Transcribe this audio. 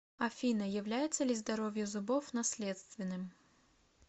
афина является ли здоровье зубов наследственным